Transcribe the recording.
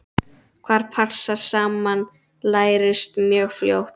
Hvað passar saman lærist mjög fljótt.